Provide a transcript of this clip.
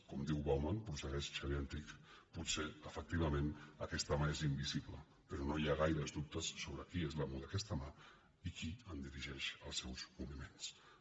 com diu bauman prossegueix xavier antich potser efectivament aquesta mà és invi·sible però no hi ha gaires dubtes sobre qui és l’amo d’aquesta mà i qui en dirigeix els moviments